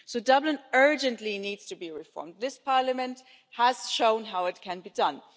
So Dublin urgently needs to be reformed. This Parliament has shown how it can be done.